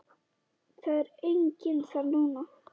Það er enginn þar núna.